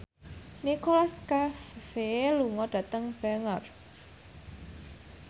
Nicholas Cafe lunga dhateng Bangor